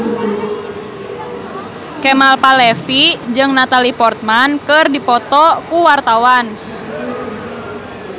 Kemal Palevi jeung Natalie Portman keur dipoto ku wartawan